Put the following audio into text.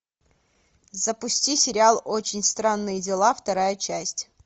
запусти сериал очень странные дела вторая часть